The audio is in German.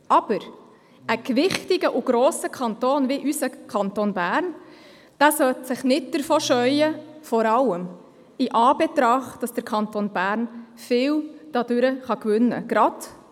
Aber ein gewichtiger und grosser Kanton wie unser Kanton Bern sollte sich nicht davor scheuen, vor allem in Anbetracht dessen, dass der Kanton Bern dadurch viel gewinnen kann.